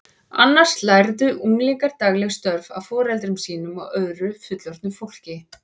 Annars lærðu unglingar dagleg störf af foreldrum sínum og öðru fullorðnu fólki.